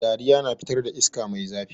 Diraya na fitar da iska mai zafi.